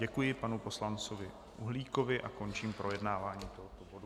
Děkuji panu poslanci Uhlíkovi a končím projednávání tohoto bodu.